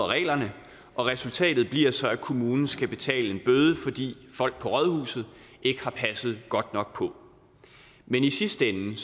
reglerne og resultatet bliver så at kommunen skal betale en bøde fordi folk på rådhuset ikke har passet godt nok på men i sidste ende